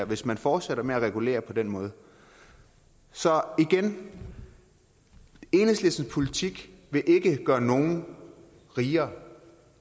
hvis man fortsætter med at regulere på den måde så igen enhedslistens politik vil ikke gøre nogen rigere